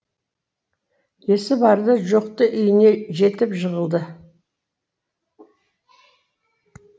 есі барды жоқты үйіне жетіп жығылды